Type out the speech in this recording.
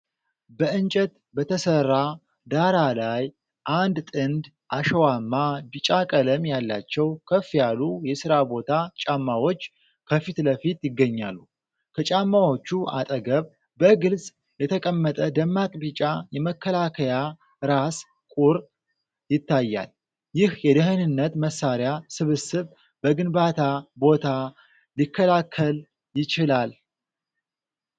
በእንጨት በተሰራ ዳራ ላይ፣ አንድ ጥንድ አሸዋማ ቢጫ ቀለም ያላቸው ከፍ ያሉ የሥራ ቦት ጫማዎች ከፊት ለፊት ይገኛሉ። ከጫማዎቹ አጠገብ፣ በግልጽ የተቀመጠ ደማቅ ቢጫ የመከላከያ ራስ ቁር ይታያል። ይህ የደህንነት መሳሪያ ስብስብ በግንባታ ቦታ ሊከላከል ይችላል?